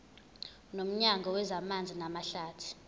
nomnyango wezamanzi namahlathi